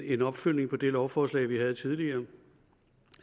en opfølgning på det lovforslag vi havde tidligere